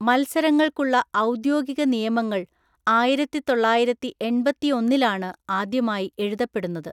മത്സരങ്ങൾക്കുള്ള ഔദ്യോഗിക നിയമങ്ങൾ ആയിരത്തിത്തൊള്ളായിരത്തിഎണ്‍പത്തിയൊന്നിലാണ് ആദ്യമായി എഴുതപ്പെടുന്നത്.